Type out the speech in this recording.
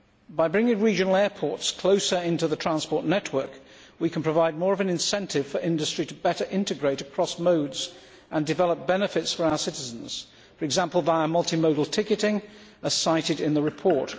By bringing regional airports closer into the transport network, we can provide more of an incentive for industry to better integrate across modes and develop benefits for our citizens, for example, via multimodal ticketing, as cited in the report.